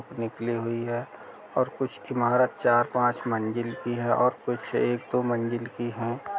निकली हुई है और कुछ ईमारत चार-पांच मंजिल की हैं और कुछ एक दो मंजिल की हैं।